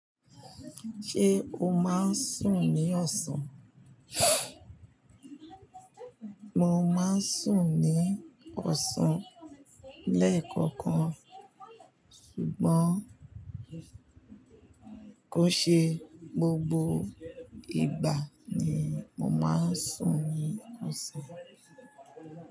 Ṣé o máa ń sùn ní ọ̀sán? Mo máa ń sùn ní ọ̀sán lẹ́ẹ̀kọ̀kan, ṣùgbọ́n kò ṣe gbogbo ìgbà ni mo máa ń sùn ní ọ̀sán.